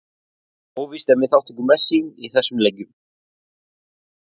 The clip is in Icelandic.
Óvíst er með þátttöku Messi í þessum leikjum.